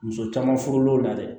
Muso caman furu l'o la dɛ